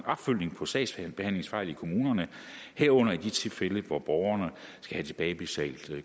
opfølgning på sagsbehandlingsfejl i kommunerne herunder i de tilfælde hvor borgerne skal have tilbagebetalt